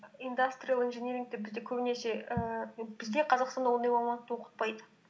индастриал инжинирингті бізде көбінесе ііі бізде қазақстанда ондай мамандықты оқытпайды